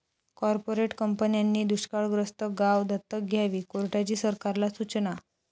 corporate कंपन्यांनी दुष्काळग्रस्त गावं दत्तक घ्यावी, कोर्टाची सरकारला सुचना